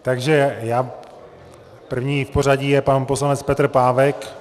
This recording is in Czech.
Takže první v pořadí je pan poslanec Petr Pávek.